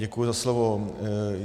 Děkuji za slovo.